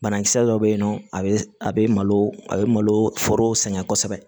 Banakisɛ dɔ bɛ yen nɔ a bɛ a bɛ a bɛ malo foro sɛgɛn kosɛbɛ